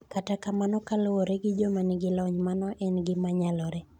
Kata kamano kaluwore gi joma nigi lony, mano en gima nyalore.